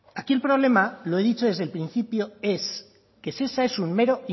aquí el problema lo he dicho desde el principio es que shesa es un mero